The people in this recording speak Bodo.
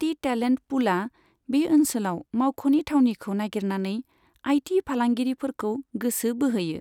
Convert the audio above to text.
टी टेलेन्ट पुलआ बे ओनसोलाव मावख'नि थावनिखौ नागिरनानै आईटी फालांगिरिफोरखौ गोसो बोहोयो।